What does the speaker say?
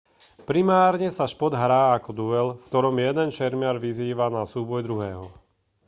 primárne sa šport hrá ako duel v ktorom jeden šermiar vyzýva na súboj druhého